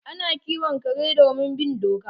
Ana kiwon kare domin bin doka